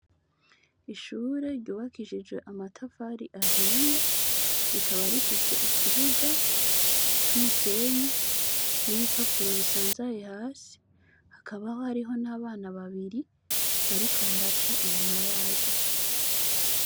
Ishure ryubakishije amatafari ahiye rikaba rifise ikibuga c'umusenyi n'ibipapuro bisanzaye hasi hakabaho hariho n'abana babiri bariko baraca inyuma yaryo.